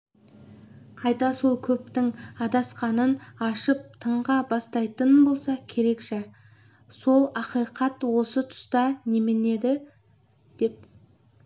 қайта сол көптің адасқанын ашып тыңға бастайтын болса керек жә сол ақиқат осы тұста неменеде деп